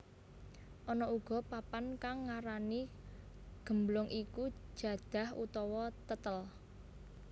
Ana uga papan kang ngarani gemblong iku jadah utawa tetel